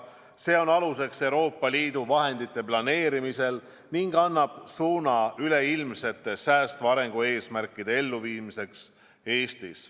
See on aluseks Euroopa Liidu vahendite planeerimisel ning annab suuna üleilmsete säästva arengu eesmärkide elluviimiseks Eestis.